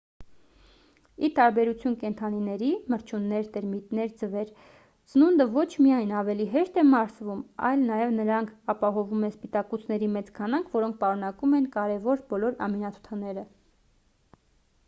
ի տարբերություն կենդանիների մրջյուններ տերմիտներ ձվեր սնունդը ոչ միայն ավելի հեշտ է մարսվում այլ նաև նրանք ապահովում են սպիտակուցների մեծ քանակ որոնք պարունակում են կարևոր բոլոր ամինաթթուները: